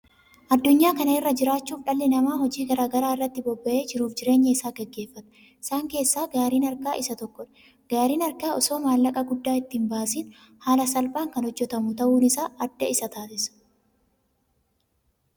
Adunyaa kanarra jiraachuuf dhalli namaa hojii garaagaraa irratti bobba'ee jiruuf jireenya isaa gaggeefata isaan keessaa gaariin harkaa isa tokkodha. Gaariin harkaa osoo maallaqa guddaa itti hin baasiin haala salphaan kan hojjetamu ta'uun isaa adda isa taasisa.